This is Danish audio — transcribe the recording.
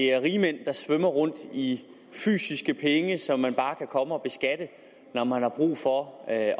rigmænd svømmer rundt i fysiske penge som man bare kan komme og beskatte når man har brug for at